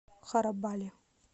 харабали